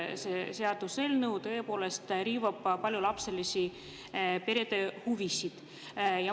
See seaduseelnõu tõepoolest riivab paljulapseliste perede huvisid.